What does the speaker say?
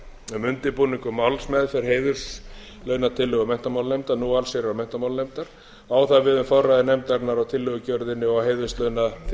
um undirbúning og málsmeðferð heiðurslaunatillögu menntamálanefndar alþingis á það við um forræði nefndarinnar á tillögugerðinni og að heiðurslaunaþegar